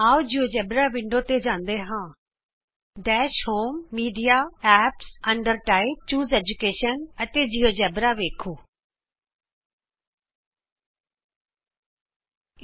ਆਉ GeoGebra window ਤੇ ਜਾਂਦੇ ਹਾਂ ਡੈਸ਼ ਹੋਮgtgt ਮੀਡਿਆ gtgtਐਪਸ gtgtਅੰਡਰ ਟਾਈਪgtgtਚੂਜ਼ ਐਜੂਕੇਸ਼ਨgtgt ਦਸ਼ ਹੋਮ ਜੀਟੀਜੀਟੀਮੀਡੀਆ ਐਪਸਗਟਗਟੰਡਰ ਟਾਈਪ ਜੀਟੀਜੀਟੀਚੂਸ ਐਡੂਕੇਸ਼ਨਗਟਗਟ ਅਤੇ ਜਿਉਜੇਬਰਾ ਵੇਖੋ